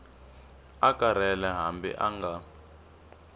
a karhele hambi a nga